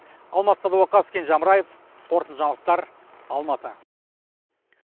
алмас садуақас кенже амраев қорытынды жаңалықтар алматы